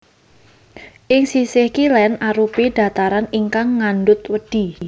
Ing sisih kilén arupi dhataran ingkang ngandhut wedhi